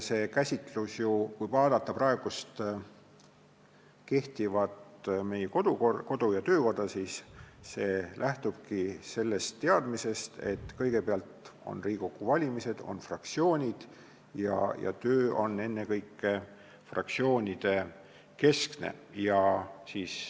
Kui vaadata praegust kodu- ja töökorda, siis näeme, et see lähtubki teadmisest, et kõigepealt on Riigikogu valimised, siis moodustatakse fraktsioonid ja töö Riigikogus on ennekõike fraktsioonidekeskene.